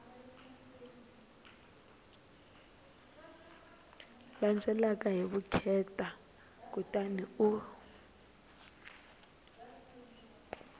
landzelaka hi vukheta kutani u